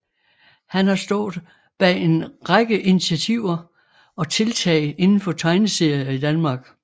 Han har stået bag en række initiativer og tiltag inden for tegneserier i Danmark